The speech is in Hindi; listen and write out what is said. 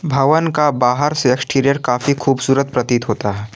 भवन का बाहर से एक्सटीरियर काफी खूबसूरत प्रतीत होता है।